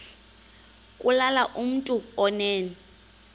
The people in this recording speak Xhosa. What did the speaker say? kulula kumntu onen